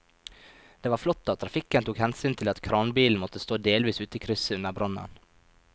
Det var flott at trafikken tok hensyn til at kranbilen måtte stå delvis ute i krysset under brannen.